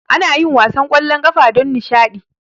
Anayin wasan kwallon kafa don nishadi